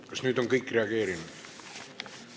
Kas nüüd on kõik reageerinud?